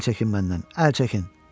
Əl çəkin məndən, əl çəkin.